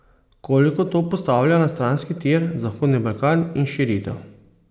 Koliko to postavlja na stranski tir zahodni Balkan in širitev?